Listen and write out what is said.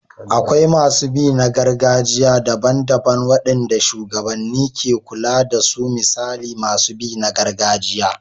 Akwai masu bi na gargajiya daban-daban waɗanda shugabanni ke kula da su misali masu bi na gargajiya.